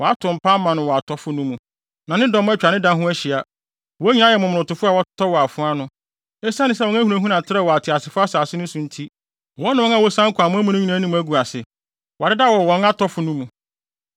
Wɔato mpa ama no wɔ atɔfo no mu, na ne dɔm atwa ne da ho ahyia. Wɔn nyinaa yɛ momonotofo a wɔatotɔ wɔ afoa ano. Esiane sɛ wɔn ahunahuna trɛw wɔ ateasefo asase so no nti, wɔne wɔn a wosian kɔ amoa mu no nyinaa anim agu ase. Wɔadeda wɔn wɔ atɔfo no mu.